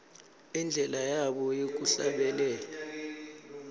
indlela yabo yekuhlabelela